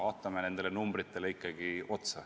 Vaatame ikkagi neid numbreid.